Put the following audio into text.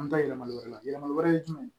An bɛ taa yɛlɛma wɛrɛ la yɛlɛmali wɛrɛ ye jumɛn ye